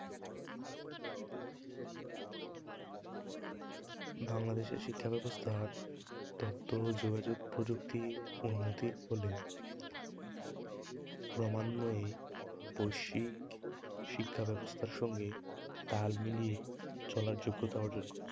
তার তথ্য যোগাযোগ প্রযুক্তির উন্নতির ফলে ক্রমান্বয়ে বৈশ্বিক শিক্ষা ব্যবস্থার সঙ্গে তাল মিলিয়ে চলার যোগ্যতা অর্জন করতে